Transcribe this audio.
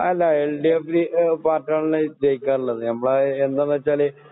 അല്ല എൽഡിഎഫ് പാർട്ടിയാണല്ലോ ജയിക്കാറുള്ളത് നമ്മള് എന്താന്നുവെച്ചാല്